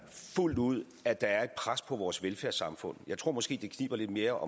fuldt ud at der er et pres på vores velfærdssamfund jeg tror det måske kniber lidt mere